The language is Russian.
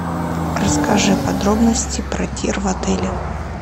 расскажи подробности про тир в отеле